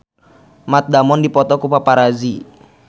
Matt Damon dipoto ku paparazi